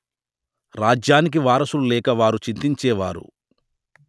రాజ్యానికి వారసులు లేక వారు చింతిచేవారు